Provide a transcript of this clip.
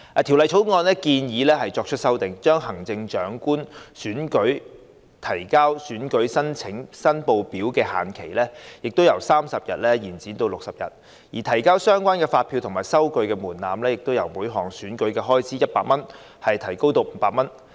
《條例草案》建議作出修訂，將行政長官選舉提交選舉申報書的限期由30天延長至60天，而提交相關發票及收據的門檻，由每項選舉開支100元提高至500元。